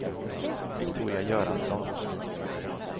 Viktoria Göransson